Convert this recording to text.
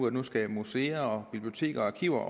at museer museer biblioteker og arkiver